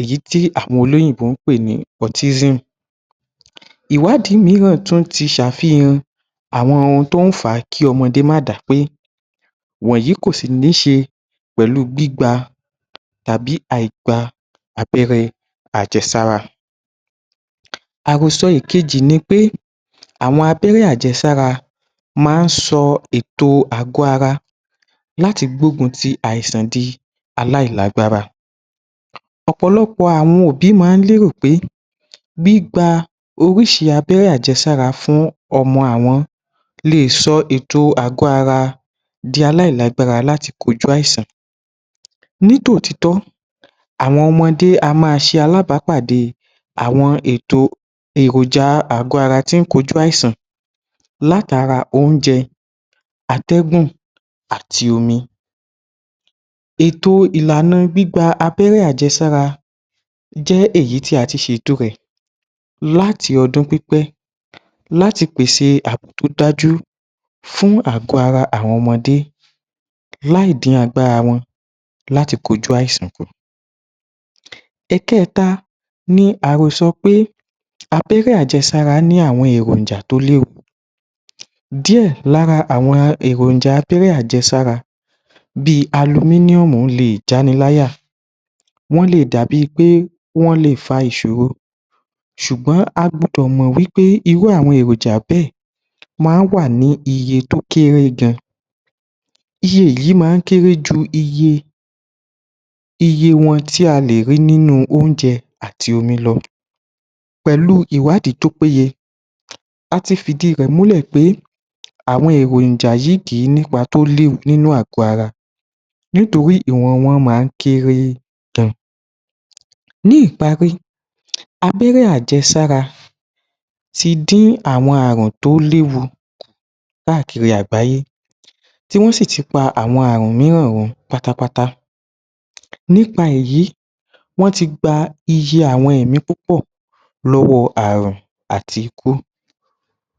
èyí tí àwọn olóyìnbó ń pè ní pọ̀tísìmù *PROTISM*. Ìwádìí mìíràn ti ṣe àfihàn kí ọmọdé má dápé wọ̀nyí kòsì ní ṣe pẹ̀lú gbígba tàbí àìgba abẹ́rẹ́ àjẹsára. Àròsọ ìkejì ni pé àwọn abẹ́rẹ́ àjẹsára máa ń sọ ètò àgọ́-ara láti gbógun ti àìsàn di aláìlágbára, ọ̀pọ̀lọpọ̀ àwọn òbí máa ń lérò pé gbígba oríṣi abẹ́rẹ́ àjẹsára fún ọmọ àwọn le è sọ ètò àgọ́-ara di aláìlágbára láti kojú àìsàn, nítòtítọ́ àwọn ọmọdé á máa ṣe alábàápàdé àwọn ètò èròjà àgọ́-ara tí ń kojú àìsàn látara oúnjẹ, atẹ́gùn àti omi, ètò ìlànà gbígba abérẹ́ àjẹsára jẹ́ èyí tí a ti ṣe ètò rẹ̀ láti ọdún pípẹ́ láti pèsè àbò tó dájú fún àgọ́-ara àwọn ọmọdé láì dín agbára wọn láti kọjú àìsàn kù. Ẹ̀kẹta ni àròsọ pé abẹ́rẹ́ àjẹsára ní àwọn èròjà tó léwu díẹ̀ lára àwọn èròjà abẹ́rẹ́ àjesára bí alumíníọ̀mù le è já ni láyà, wọn le è dàbí i pé wọ́n le fa ìṣòro ṣùgbọ́n a gbọ́dọ̀ mọ̀ wí pé irú àwọn èròjà bẹ́ẹ̀ ma ń wà ní iye tó kéré gan, iye yìí máa ń kéré ju iye wọn tí a lè rí nínú oúnjẹ àti omi lọ pẹ̀lú ìwádìí tó péye, a ti fìdí rẹ̀ múlẹ̀ pé àwọn èròjà yìí kìí nípa tó léwu nínú ààgọ́ ara nítorí ìwọ̀n wọn máa ń kéré gan. Ní ìparí, abẹ́rẹ́ àjesára ti dín àwọn ààrùn tó léwu káàkiri àgbáyé tí wọ́n sì ti pa àwọn ààrùn mìíràn run pátápátá nípa èyí wọ́n ti gba iye àwọn ẹ̀mí púpọ̀ lọ́wọ́ ààrùn àti ikú.